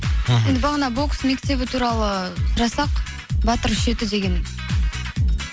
мхм бағана бокс мектебі туралы жазсақ батыр үш жеті деген